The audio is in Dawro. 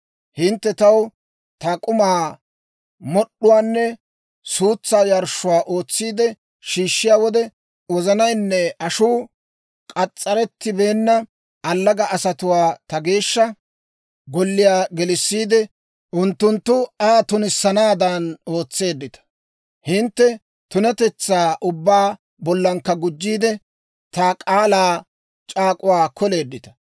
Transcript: Hintte taw ta k'umaa, mod'd'uwaanne suutsaa yarshshuwaa ootsiide shiishshiyaa wode, wozanaynne ashuu k'as's'arettibeenna allaga asatuwaa ta Geeshsha Golliyaa gelissiide, unttunttu Aa tunissanaadan ootseeddita. Hintte tunatetsaa ubbaa bollankka gujjiide, ta k'aalaa c'aak'uwaa koleeddita.